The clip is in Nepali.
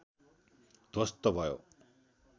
ध्वस्त भयो